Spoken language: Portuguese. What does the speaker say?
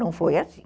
Não foi assim.